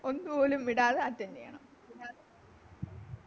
ഒന്നുപോലും വിടാതെ Attend ചെയ്യണം